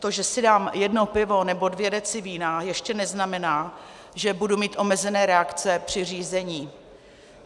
To, že si dám jedno pivo nebo dvě deci vína, ještě neznamená, že budu mít omezené reakce při řízení.